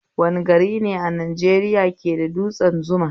Wane garine a Najeriya ke da dutsen Zuma?